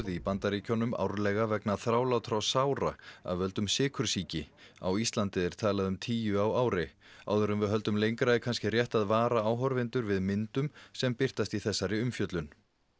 í Bandaríkjunum árlega vegna þrálátra sára af völdum sykursýki á Íslandi er talað um tíu á ári áður en við höldum lengra er kannski rétt að vara áhorfendur við myndum sem birtast í þessari umfjöllun